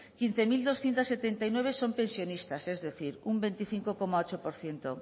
quince mil doscientos setenta y nueve son pensionistas es decir un veinticinco coma ocho por ciento